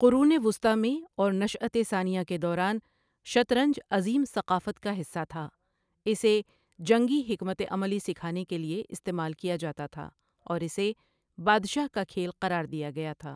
قرون وسطی میں اور نشاۃ ثانیہ کے دوران، شطرنج عظیم ثقافت کا حصہ تھا، اسے جنگی حکمت عملی سکھانے کے لیے استعمال کیا جاتا تھا اور اسے 'بادشاہ کا کھیل' قرار دیا گیا تھا۔